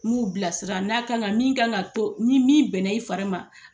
Ku bilasira n'a kan ka min ka k'an to ni min bɛnna i fari ma.